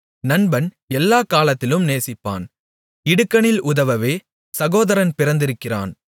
நண்பன் எல்லாக் காலத்திலும் நேசிப்பான் இடுக்கணில் உதவவே சகோதரன் பிறந்திருக்கிறான்